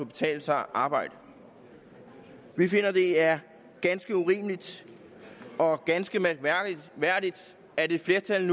betale sig at arbejde vi finder at det er ganske urimeligt og ganske mærkværdigt at et flertal i